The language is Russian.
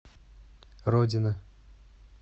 родина